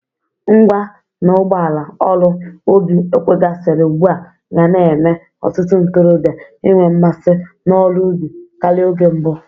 Ngwa na ụgbọala ọrụ ubi ewegasịrị ugbu a ga na-eme ọtụtụ ntorọbịa inwe mmasị n'ọrụ ubi karị oge mbụ.